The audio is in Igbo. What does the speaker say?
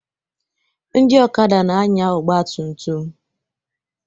Ndị okada na-anya ọgba tum tum